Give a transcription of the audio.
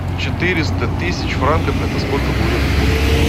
четыреста тысяч франков это сколько будет в фунтах